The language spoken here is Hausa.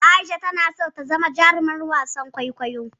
Aisha tana son ta zama jarumar wasan kwaikwayo.